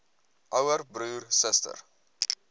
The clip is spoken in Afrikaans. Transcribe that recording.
ouer broer suster